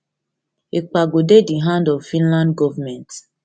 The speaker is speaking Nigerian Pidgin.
ekpa go dey di hand of finland govment